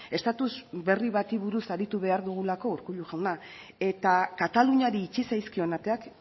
estatuz berri bati buruz aritu behar dugulako urkullu jauna eta kataluniari itxi zaizkion ateak